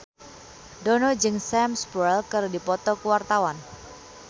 Dono jeung Sam Spruell keur dipoto ku wartawan